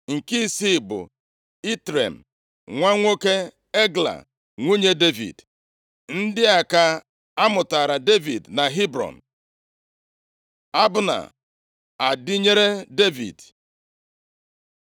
nke isii bụ Itream, nwa nwoke Egla nwunye Devid. Ndị a ka a mụtaara Devid na Hebrọn. Abna adịnyere Devid